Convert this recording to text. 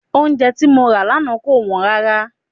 Oúnjẹ tí mo rà lánàá kò wọ́n rárá.